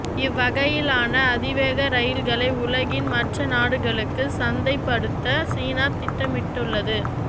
இவ்வகையிலான அதிவேக ரயில்களை உலகின் மற்ற நாடுகளுக்கும் சந்தை படுத்த சீனா திட்டமிட்டுள்ளது